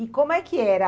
como é que era?